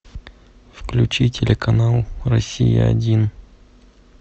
включи телеканал россия один